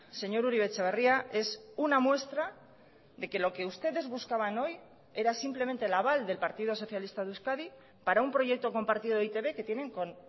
señor uribe etxebarria es una muestra de que lo que ustedes buscaban hoy era simplemente el aval del partido socialista de euskadi para un proyecto compartido de e i te be que tienen con